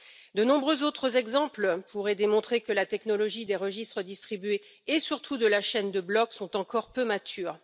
De nombreux autres exemples pourraient démontrer que la technologie des registres distribués, et surtout de la chaîne de blocs, sont encore peu matures.